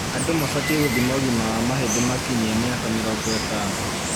Andũ mabatie gũthima ũgima wa mahĩndĩ makinyia miaka 50.